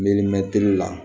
la